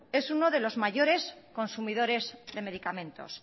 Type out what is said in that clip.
es uno de los mayores consumidores de medicamentos